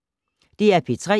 DR P3